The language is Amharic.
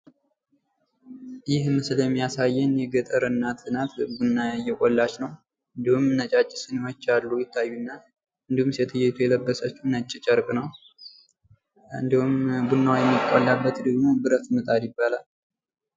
ይህ ምስል የሚያሳየን የገጠር እናት ናት። ቡና እየቆላች ነው። እንዲሁም ነጫጭ ሲኒወች አሉ ይታዩናል። እንዲሁም ሴትዮይቱ የለበሰችው ነጭ ጨርቅ ነው። እንዲሁም ቡና የሚቆላበት ደግሞ ብረት ምጣድ ይባላል ።